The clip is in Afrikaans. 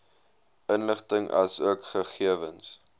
inligting asook gegewens